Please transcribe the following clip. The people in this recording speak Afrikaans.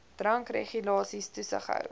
drankregulasies toesig hou